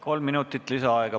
Kolm minutit lisaaega.